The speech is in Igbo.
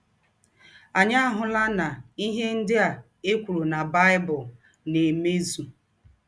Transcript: Anyị ahụla na ihe ndị a e kwụrụ na Baịbụl na - emezụ!